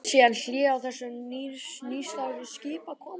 Varð síðan hlé á þessum nýstárlegu skipakomum.